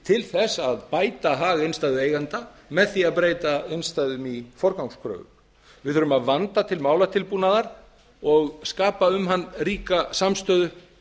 til að bæta hag innstæðueigenda með því að breyta innstæðum í forgangskröfu við þurfum að vanda til málatilbúnaðar og skapa um hann ríka samstöðu